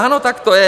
Ano, tak to je.